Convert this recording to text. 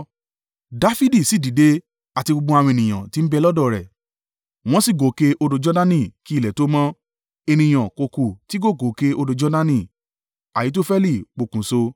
Dafidi sì dìde, àti gbogbo àwọn ènìyàn tí ń bẹ lọ́dọ̀ rẹ̀, wọ́n sì gòkè odò Jordani: kí ilẹ̀ tó mọ́, ènìyàn kò kù tí kò gòkè odò Jordani.